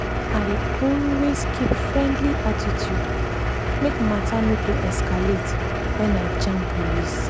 i dey always keep friendly attitude make matter no go escalate when i jam police.